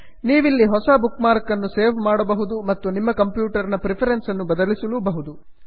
ನೀವಿಲ್ಲಿ ಹೊಸ ಬುಕ್ಮಾರ್ಕ್ ಅನ್ನು ಸೇವ್ ಮಾಡಬಹುದು ಮತ್ತು ನಿಮ್ಮ ಕಂಪ್ಯೂಟರ್ ನ ಪ್ರಿಫರೆನ್ಸ್ ಅನ್ನು ಬದಲಿಸಲೂಬಹುದು